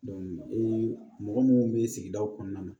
mɔgɔ munnu be sigidaw kɔnɔna na